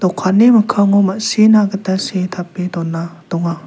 okkanni mikkango ma·sina gita see tape dona donga.